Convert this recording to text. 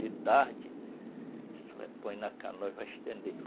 De tarde, isso aí põe na canoa e vai estender.